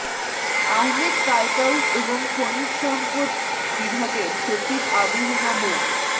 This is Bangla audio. আহমেদ কায়কাউস এবং খনিজ সম্পদ বিভাগের সচিব আবু হেনা মো